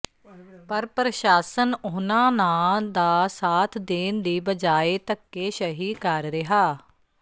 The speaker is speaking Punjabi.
ਪਰ ਪ੍ਰਸ਼ਾਸਨ ਓਨ੍ਹਾਂ ਨਾ ਦਾ ਸਾਥ ਦੇਣ ਦੀ ਬਜਾਏ ਧੱਕੇਸ਼ਹੀ ਕਰ ਰਿਹਾ